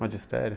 Magistério?